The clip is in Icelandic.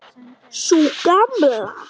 Sú Gamla?